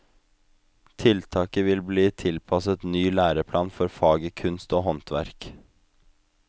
Tiltaket vil bli tilpasset ny læreplan for faget kunst og håndverk.